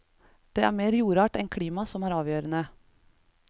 Det er mer jordart enn klima som er avgjørende.